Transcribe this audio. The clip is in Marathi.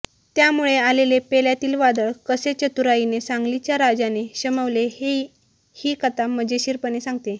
त्यामुळे आलेले पेल्यातील वादळ कसे चतुराईने सांगलीच्या राजाने शमवले हे ही कथा मजेशीर पणे सांगते